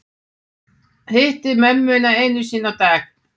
Hitta mömmuna einu sinni á dag